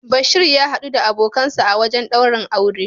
Bashir ya hadu da abokinsa a wajen daurin auren.